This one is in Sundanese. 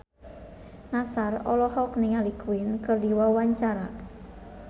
Nassar olohok ningali Queen keur diwawancara